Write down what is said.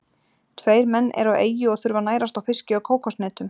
Tveir menn eru á eyju og þurfa að nærast á fiski og kókoshnetum.